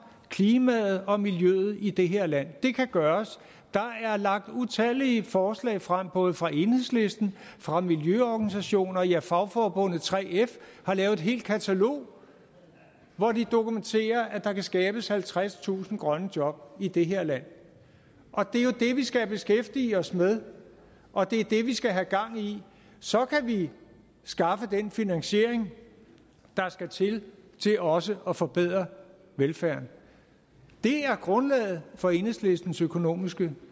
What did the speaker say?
klimaet og miljøet i det her land det kan gøres der er lagt utallige forslag frem både fra enhedslisten fra miljøorganisationer ja fagforbundet 3f har lavet et helt katalog hvori de dokumenterer at der kan skabes halvtredstusind grønne job i det her land og det er jo det vi skal beskæftige os med og det er det vi skal have gang i så kan vi skaffe den finansiering der skal til for også at forbedre velfærden det er grundlaget for enhedslistens økonomiske